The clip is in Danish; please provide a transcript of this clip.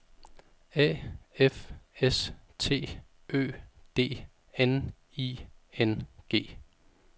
A F S T Ø D N I N G